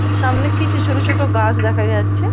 সামনে কিছু ছোট ছোট গাছ দেখা যাচ্ছে ।